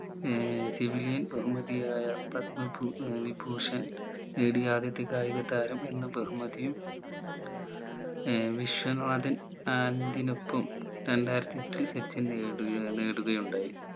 ഏർ civilian ബഹുമതിയായ പടമ ഭൂ ഏർ വിഭൂഷൺ നേടിയ ആദ്യത്തെ കായിക താരം എന്ന ബഹുമതിയും ഏർ വിശ്വനാഥൻ ആനന്ദിനൊപ്പം രണ്ടായിരത്തി എട്ടിൽ സച്ചിൻ നേടുകയാ നേടുകയുണ്ടായി